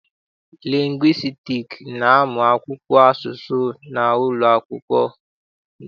Lingwistiks na-amụ asụsụ n'ụlọakwụkwọ.